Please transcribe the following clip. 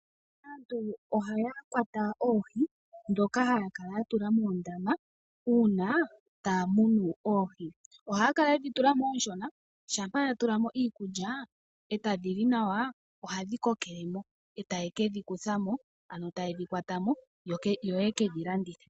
Aantu oha ya kwata oohi dhoka ha ya kala ya tula moondama uuna taya munu oohi. Oha ya kala yedhi tulamo oonshona, shampa ya tulamo iikulya, ee tadi li nawa, oha dhi kokelemo, ee taye kedhi kuthamo ano taye dhi kwatamo yo ye kedhi landithe.